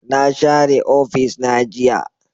Na share ofis na jiya